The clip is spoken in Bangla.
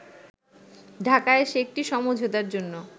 ঢাকায় এসে একটি সমঝোতার জন্য